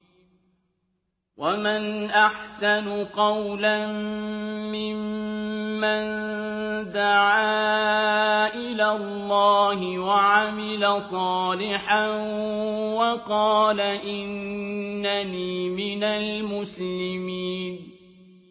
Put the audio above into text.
وَمَنْ أَحْسَنُ قَوْلًا مِّمَّن دَعَا إِلَى اللَّهِ وَعَمِلَ صَالِحًا وَقَالَ إِنَّنِي مِنَ الْمُسْلِمِينَ